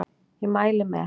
Ég mæli með